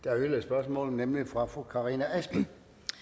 der er yderligere spørgsmål nemlig fra fru karina adsbøl